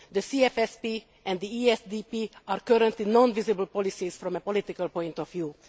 The CFSP and the ESDP are currently non visible policies from a political point of view.